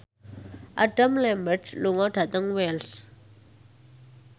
Adam Lambert lunga dhateng Wells